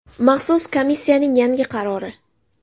Maxsus komissiyaning yangi qarori.